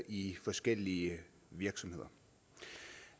i forskellige virksomheder